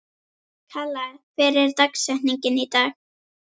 Kalla, hver er dagsetningin í dag?